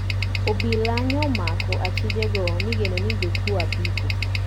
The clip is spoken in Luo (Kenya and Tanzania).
Obila nyo omako achije go migeno ni jokuo apiko